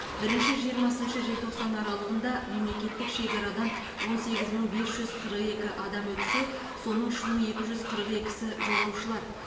бірініші жиырмасыншы желтоқсан аралығында мемлекеттік шекарадан он сегіз мың бес жүз қырық екі адам өтсе соның үш мың екі жүз қырық екісі жолаушылар